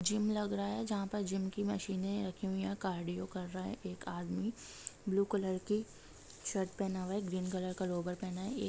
Gym लगा रहा है जहा पर जिम की मशीन रखी हुई है कार्डियो कर रहा हैएक आदमी ब्लू कलर की शर्ट पहना हुआ है ग्रीन कलर का लोअर पहना हुआ है।